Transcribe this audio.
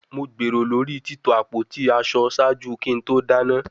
Mo gbero lori tito apoti aṣọ ṣaaju ki to dana